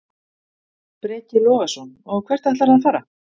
Breki Logason: Og hvert ætlarðu að fara?